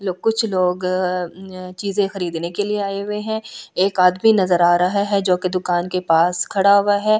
कुछ लोग चीजें खरीदने के लिए आए हुए हैं एक आदमी नजर आ रहा है जो कि दुकान के पास खड़ा हुआ है।